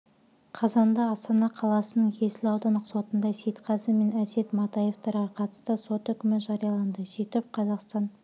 қазанда астана қаласының есіл аудандық сотында сейтқазы мен әсет матаевтарға қатысты сот үкімі жарияланды сөйтіп қазақстан